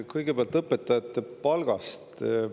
Kõigepealt õpetajate palgast.